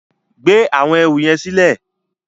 Gbé áwòn èrú yèn silè